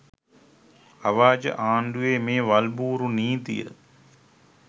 අව්‍යාජ ආණ්ඩුවේ මේ වල්බූරු නීතිය